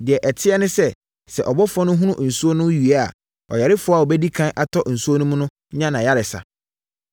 Deɛ ɛteɛ ne sɛ, sɛ ɔbɔfoɔ no hono nsuo no wie a, ɔyarefoɔ a ɔbɛdi ɛkan atɔ nsuo no mu no nya ayaresa.